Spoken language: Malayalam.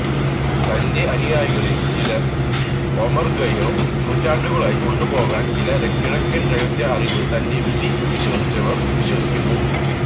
തന്റെ അനുയായികളിൽ ചിലർ ഒമർഖയ്യാം നൂറ്റാണ്ടുകളായി കൊണ്ടുപോകാൻ ചില കിഴക്കൻ രഹസ്യ അറിവ് തന്റെ വിധി വിശ്വസിച്ചവർ വിശ്വസിക്കുന്നു